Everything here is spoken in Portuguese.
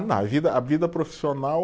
a vida, a vida profissional?